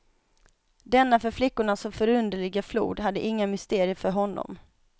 Denna för flickorna så förunderliga flod hade inga mysterier för honom.